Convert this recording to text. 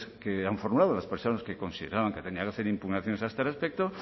que han formulado las personas que consideraban que tenían que hacer impugnaciones a este respecto